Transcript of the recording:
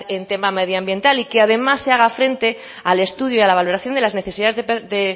en tema medio ambiental y que además se haga frente al estudio a la valoración de las necesidades de